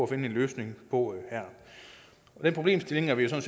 finde en løsning på her den problemstilling er vi jo